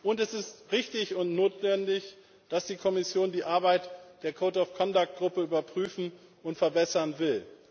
Und es ist richtig und notwendig, dass die Kommission die Arbeit der Code of Conduct Gruppe überprüfen und verbessern will.